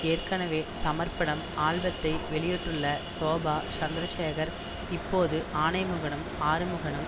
ஏற்கனவே சமர்ப்பணம் ஆல்பத்தை வெளியிட்டுள்ள ஷோபா சந்திரசேகர் இப்போது ஆணைமுகனும் ஆறுமுகனும்